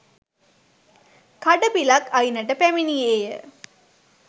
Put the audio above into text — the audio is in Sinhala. කඩපිලක් අයිනට පැමිණියේ ය.